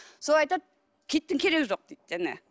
сол айтады киіттің керегі жоқ дейді жаңа